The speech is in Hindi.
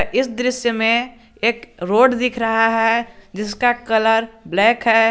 इस दृश्य में एक रोड दिख रहा है जिसका कलर ब्लैक है।